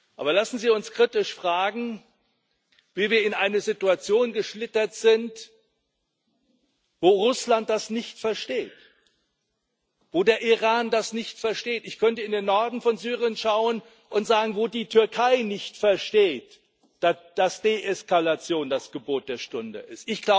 Aber lassen Sie uns kritisch fragen, wie wir in eine Situation geschlittert sind, wo Russland das nicht versteht, wo der Iran das nicht versteht ich könnte in den Norden von Syrien schauen und sagen wo die Türkei nicht versteht dass Deeskalation das Gebot der Stunde ist.